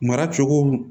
Mara cogo